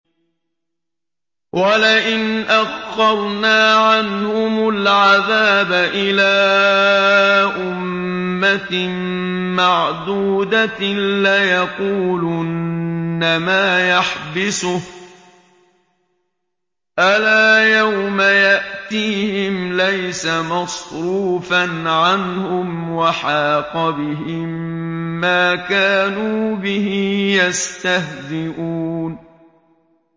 وَلَئِنْ أَخَّرْنَا عَنْهُمُ الْعَذَابَ إِلَىٰ أُمَّةٍ مَّعْدُودَةٍ لَّيَقُولُنَّ مَا يَحْبِسُهُ ۗ أَلَا يَوْمَ يَأْتِيهِمْ لَيْسَ مَصْرُوفًا عَنْهُمْ وَحَاقَ بِهِم مَّا كَانُوا بِهِ يَسْتَهْزِئُونَ